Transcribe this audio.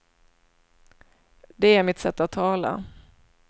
Det är mitt sätt att tala.